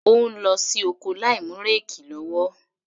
Ó ń lọ sí oko láìmú réèkì lọ́wọ́.